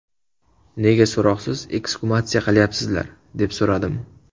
Nega so‘roqsiz eksgumatsiya qilayapsizlar, deb so‘radim.